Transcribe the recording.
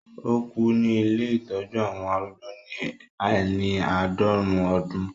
Ó kú ní ilé ìtọ́jú àwọn arúgbó ní ẹni àádọ́rùn-ún ọdún